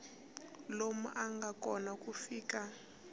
lowu nga kona ku fika